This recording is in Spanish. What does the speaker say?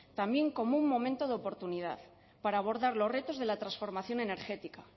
también como un momento de oportunidad para abordar los retos de la transformación energética